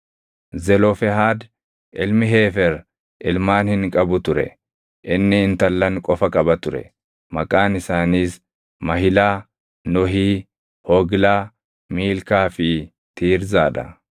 Zelofehaad ilmi Heefer ilmaan hin qabu ture; inni intallan qofa qaba ture; maqaan isaaniis Mahilaa, Nohii, Hoglaa, Miilkaa fi Tiirzaa dha.